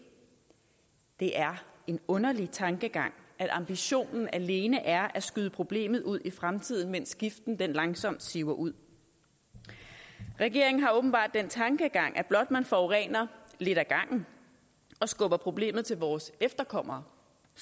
det er en underlig tankegang at ambitionen alene er at skyde problemet ud i fremtiden mens giften langsomt siver ud regeringen har åbenbart den tankegang at blot man forurener lidt ad gangen og skubber problemet til vores efterkommere